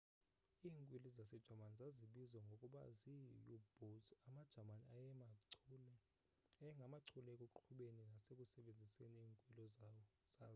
iinkwili zasejamani zazibizwa ngokuba zii-u-boats amajamani ayengamachule ekuqhubeni nasekusebenziseni iinkwili zazo